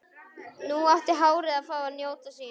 Nú átti hárið að fá að njóta sín.